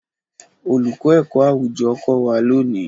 Olùkọ́ ẹ̀kọ́-àwùjọ kò wá lónìí.